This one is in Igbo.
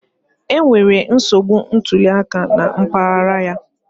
Enwere nsogbu ntuli aka na mpaghara ya